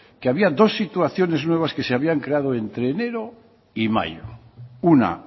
que había dos situaciones nuevas que se habían creado ente enero y mayo una